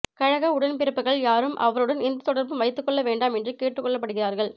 கழக உடன்பிறப்புக்கள் யாரும் அவருடன் எந்த தொடர்பும் வைத்து கொள்ள வேண்டாம் என்று கேட்டுக்கொள்ளப்படுகிறார்கள்